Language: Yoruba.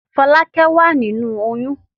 Fọ́lákẹ́ wà nínú oyún.